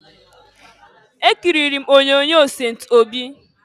Ekiriri m onyoonyo Sent Obi.